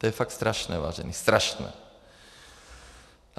To je fakt strašné, vážení, strašné.